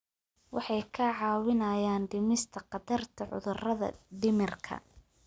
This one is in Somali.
Waxay kaa caawinayaan dhimista khatarta cudurrada dhimirka.